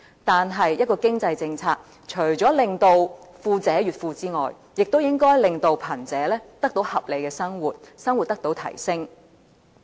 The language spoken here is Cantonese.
但是，一項經濟政策除了令富者越富外，亦應該令貧者得到合理的生活，生活水平得到提升。